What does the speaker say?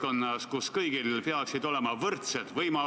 Kuidas nüüd jalgrattaga ikkagi rongi peale saab?